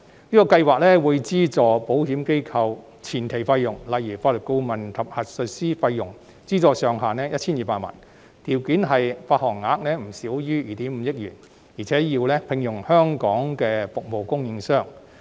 這項計劃會資助保險機構的相關前期費用，例如法律顧問及核數師費用，上限為 1,200 萬元，條件是保險相連證券的發行額不少於2億 5,000 萬元，並須聘用香港的服務供應商。